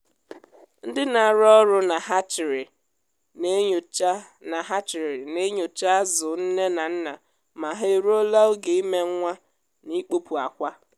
ndị na-arụ ọrụ na hatcheri na-enyocha na hatcheri na-enyocha azụ nne na nna ma ha eruola oge ime nwa na ịkpọpụ akwa.